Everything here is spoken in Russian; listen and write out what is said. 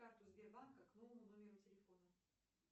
карту сбербанка к новому номеру телефона